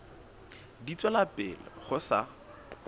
di tswela pele ho sa